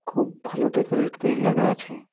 খুব ভালো ডেকোরেটে করি লাগা আছে।